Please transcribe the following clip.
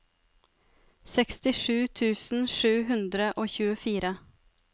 sekstisju tusen sju hundre og tjuefire